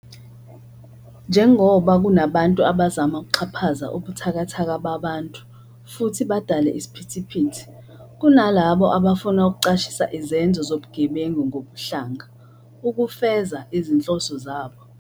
Njengoba nje kunabantu abazama ukuxhaphaza ubuthakathaka babantu futhi badale isiphithiphithi, kunalabo abafuna ukucashisa izenzo zobugebengu ngobuhlanga ukufeza izinhloso zabo.